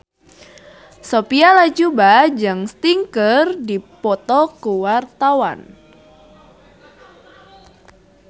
Sophia Latjuba jeung Sting keur dipoto ku wartawan